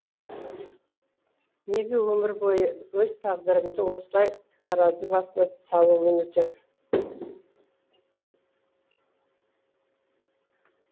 неге өмір бойы өз тағдырымды осылай таразы басына салумен өтем